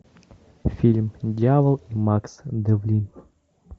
фильм дьявол и макс девлин